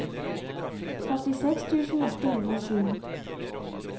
førtiseks tusen åtte hundre og sju